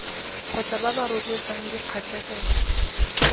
kgotsa ba ba rotloetsang dikgatlhegelo